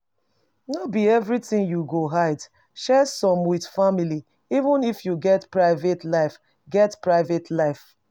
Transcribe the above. No be everything you go hide, share some with family even if you get private life get private life